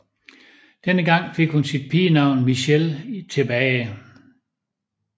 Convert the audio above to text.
Denne gang fik hun sit pigenavn Mitchell tilbage